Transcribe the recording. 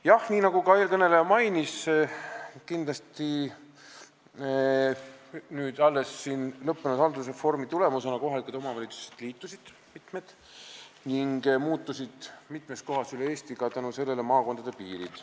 " Jah, nii nagu ka eelkõneleja mainis, alles lõppenud haldusreformi tulemusena mitmed kohalikud omavalitsused liitusid ning seetõttu muutusid mitmes kohas üle Eesti maakondade piirid.